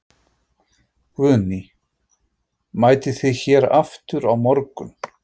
Guðný: Mætið þið hér aftur á morgun?